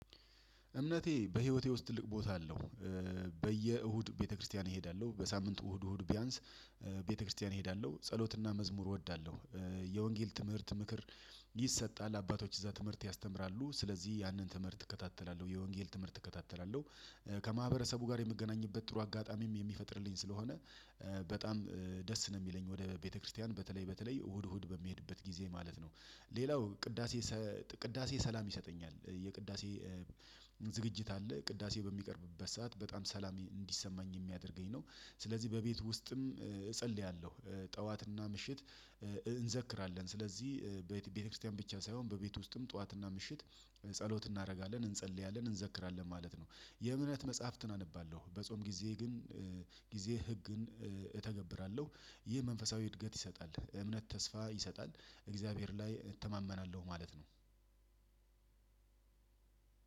እምነቴ በህይወቴ ውስጥ ትልቅ ቦታ አለው። በየእሁድ ቤተክርስቲያን እሄዳለሁ በሳምንት እሁድ እሁድ ቢያንስ ቤተክርስቲያን እሄዳለሁ ጸሎትና መዝሙር እወዳለሁ። የወንጌል ትምህርት ምክር። ይሰጣል አባቶች እዛ ትምህርት ያስተምራሉ ስለዚህ ያንን ትምህርት እከታተላለሁ የወንጌል ትምህርት እከታተላለሁ። ከማህበረሰቡ ጋር የምገናኝበት ጥሩ አጋጣሚም የሚፈጥርልኝ ስለሆነ። በጣም ደስ ነው የሚለኝ ወደ ቤተክርስቲያን በተለይ በተለይ እሁድ እሁድ በሚሄድበት ጊዜ ማለት ነው። ሌላው ቅዳሴ ቅዳሴ ሰላም ይሰጠኛል የቅዳሴ። ዝግጅት አለ ቅዳሴ በሚቀርብበት ሰዓት በጣም ሰላም እንዲሰማኝ የሚያደርገኝ ነው። ስለዚህ በቤቱ ውስጥም እጸልያለሁ። ጠዋትና ምሽት እንዘክራለን ስለዚህ ቤተክርስቲያን ብቻ ሳይሆን በቤት ውስጥም ጠዋትና ምሽት ጸሎት እናደርጋለን እንጸልያለን እንዘክራለን ማለት ነው። የእምነት መጽሐፍትን አነባለሁ በጾም ጊዜ ግን ጊዜ ህግን እተገብራለሁ። ይህ መንፈሳዊ እድገት ይሰጣል። እምነት ተስፋ ይሰጣል። እግዚአብሔር ላይ እተማመናለሁ ማለት ነው።